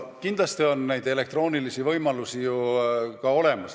Kindlasti on neid elektroonilisi võimalusi ka olemas.